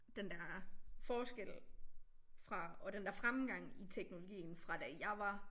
Den der forskel fra og den der fremgang i teknologien fra da jeg var